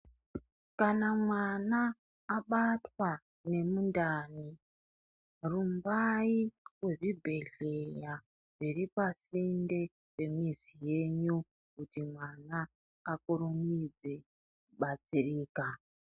Kana mwana abatwa nemindani rumbai kuzvibhedhleya zviri pasinde pemizi yenyu kuti mwana akurumidze kubatsirika.